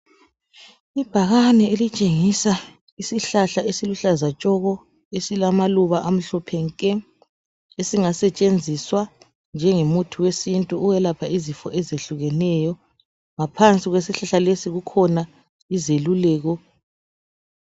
Ibhakane elitshengisa isihlahla esiluhlaza tshoko! Esilamaluba amhlophe nke! Esingasetshenziswa njengomuthi wesintu, ukwelapha izifo ezehlukeneyo. Ngaphansi kwesihlahla lesi kukhona izeluleko.